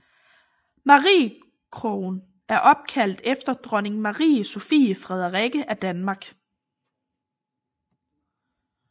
Mariekogen er opkaldt efter Dronning Marie Sophie Frederikke af Danmark